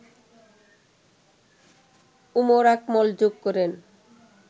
উমর আকমল যোগ করেন